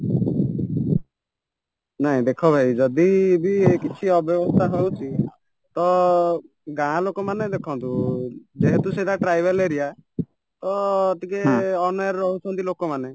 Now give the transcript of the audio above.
ନାଇଁ ଦେଖ ଭାଇ ଯଦିବି କିଛି ଅବ୍ୟବସ୍ଥା ହଉଛି ତ ଗାଁଲୋକମାନେ ଦେଖନ୍ତୁ ଯେହେତୁ ସେଇଟା tribal area ତ ଟିକେ ଅନ୍ୟାୟରେ ରହୁଛନ୍ତି ଲୋକ ମାନେ